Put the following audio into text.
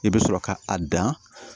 I bɛ sɔrɔ ka a dan